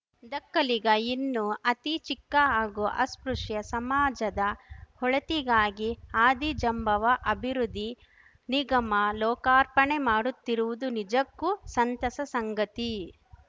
ದಕ್ಕಲಿಗ ಇನ್ನು ಅತಿ ಚಿಕ್ಕ ಹಾಗೂ ಅಸ್ಪೃಶ್ಯ ಸಮಾಜದ ಒಳಿತಿಗಾಗಿ ಆದಿಜಾಂಬವ ಅಭಿವೃದ್ಧಿ ನಿಗಮ ಲೋಕಾರ್ಪಣೆ ಮಾಡುತ್ತಿರುವುದು ನಿಜಕ್ಕೂ ಸಂತಸ ಸಂಗತಿ